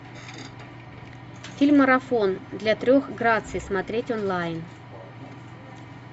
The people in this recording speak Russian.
фильм марафон для трех граций смотреть онлайн